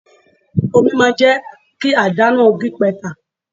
Omi máa jẹ́ kí àdá náà gípatà.